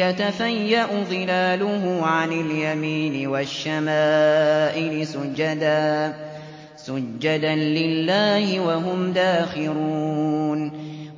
يَتَفَيَّأُ ظِلَالُهُ عَنِ الْيَمِينِ وَالشَّمَائِلِ سُجَّدًا لِّلَّهِ وَهُمْ دَاخِرُونَ